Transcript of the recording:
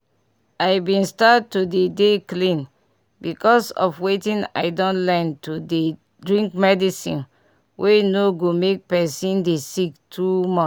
i bin start to dey dey clean because of wetin i don learn to dey drink medicine wey no go make pesin dey sick too much